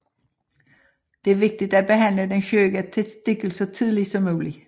Det er vigtigt at behandle den syge testikel så tidligt som muligt